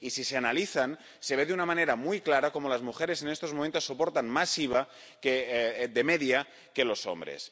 Y si se analizan, se ve de una manera muy clara que las mujeres en estos momentos soportan más IVA de media que los hombres.